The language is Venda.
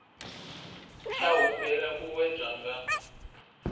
tsha humbela u wedzwa nga